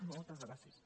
moltes gràcies